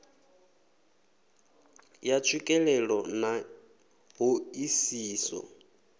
ya tswikelelo na ṱho ḓisiso